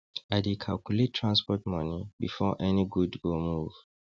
i dey calculate transport money before any good go move